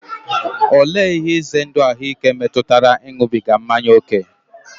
Olee ihe ize ndụ ahụike metụtara ịṅụbiga mmanya ókè?